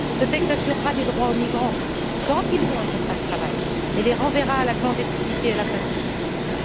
Ce texte assurera des droits aux migrants quand ils auront un contrat de travail mais les renverra dans la clandestinité à la fin de celui ci.